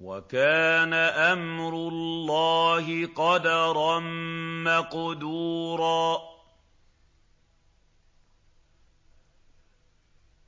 وَكَانَ أَمْرُ اللَّهِ قَدَرًا مَّقْدُورًا